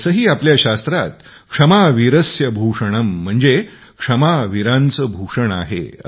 तसे ही आपल्या शास्त्रात क्षमा वीरस्य भूषणं म्हणजे क्षमा वीरांचे भूषण आहे